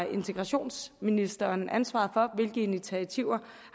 integrationsministeren har ansvaret for hvilke initiativer